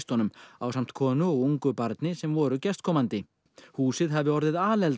ásamt konu og ungu barni sem voru gestkomandi húsið hafi orðið